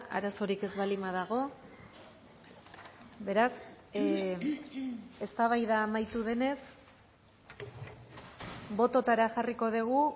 arazorik ez baldin badago beraz eztabaida amaitu denez bototara jarriko dugu